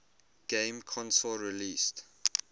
game console released